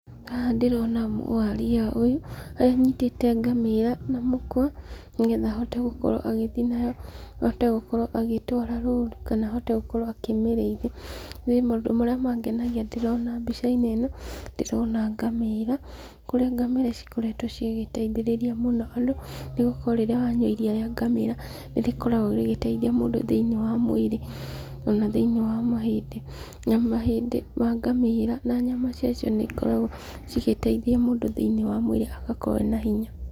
Haha ndĩrona mũwaria ũyũ, anyitĩte ngamĩra na mũkwa, nĩgetha ahote gũkorwo agĩthiĩ nayo, ahote gũkorwo agĩtwara rũru kana ahote gũkorwo akĩmĩrĩithia, niĩ maũndũ marĩa mangenagia ndĩrona mbica-inĩ ĩno, ndĩrona ngamĩra, kũrĩa ngamĩra cikoretwo cigĩtaithĩrĩria mũno andũ, nĩgũkorwo rĩrĩa wanyua iria rĩa ngamĩra, nĩrĩkoragwo rĩgĩtaithia mũndũ thĩiniĩ wa mwĩrĩ, ona thĩiniĩ wa mahĩndĩ, nĩ amu mahĩndĩ ma ngamĩra na nyama ciacio nĩikoragwo cigĩteithia mũndũ thĩiniĩ wa mwĩrĩ agakorwo ena hinya.